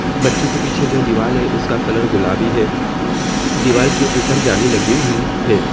बच्चों के पीछे जो दीवाले है उसका कलर गुलाबी है दीवाल के ऊपर जाली लगी हुई है।